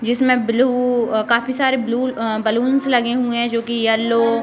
जिसमें ब्लू काफी सारे ब्लू अ बलून्स लगे हुए हैं जोकि येलो --